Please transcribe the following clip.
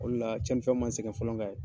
O le la cɛnni fɛn man n sɛgɛn fɔlɔ ka ye.